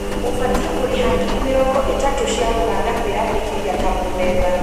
Ũbatiĩ kũrĩha ngiri mĩrongo ĩtatũ cia Ũganda kwĩyandĩkithia ta mũmemba